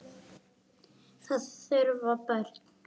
Það þurfa börn.